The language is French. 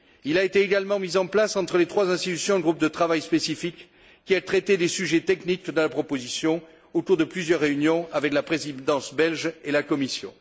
Il a été également mis en place entre les trois institutions un groupe de travail spécifique qui a traité des sujets techniques de la proposition au cours de plusieurs réunions avec la Présidence belge et la Commission.